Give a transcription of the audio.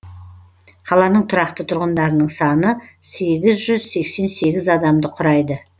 қаланың тұрақты тұрғындарының саны сегіз жүз сексен сегіз адамды құрайды